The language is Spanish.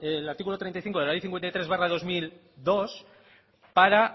el artículo treinta y cinco de la ley cincuenta y tres barra dos mil dos para